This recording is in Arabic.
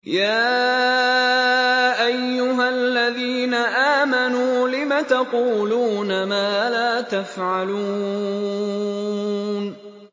يَا أَيُّهَا الَّذِينَ آمَنُوا لِمَ تَقُولُونَ مَا لَا تَفْعَلُونَ